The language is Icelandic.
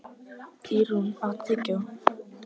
Ýrún, áttu tyggjó?